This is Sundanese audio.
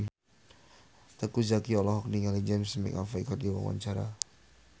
Teuku Zacky olohok ningali James McAvoy keur diwawancara